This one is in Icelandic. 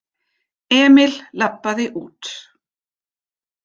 Emil labbaði út.